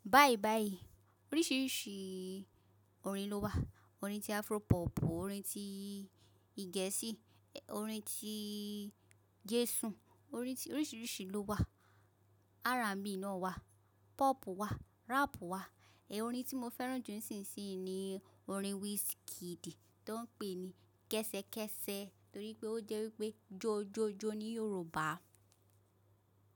Báyìí báyìí oríṣiríṣi orin ló wà, orin tí Afro pop, orin tí geẹ̀sì, orin tí Jésù orin oríṣiríṣi ló wà. R&B náà wà, pop wà, rap wà. Ẹ̀ orin tí mo fẹ́ràn jù nísinsìnyí ni orin Wizkid tó ń pè ní Kẹ́sẹ̀kẹ́sẹ̀ torí pé ó jẹ́ wípé jó jó jó ní Yorùbá.